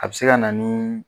A bɛ se ka na ni